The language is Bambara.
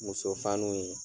Muso fanuw ye